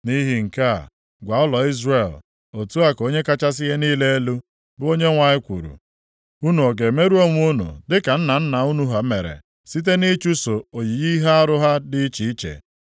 “Nʼihi nke a, gwa ụlọ Izrel, ‘Otu a ka Onye kachasị ihe niile elu, bụ Onyenwe anyị kwuru: Unu ọ ga-emerụ onwe unu dịka nna nna unu ha mere site nʼịchụso oyiyi ihe arụ ha dị iche iche?